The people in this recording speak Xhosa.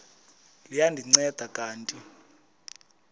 liya ndinceda kanti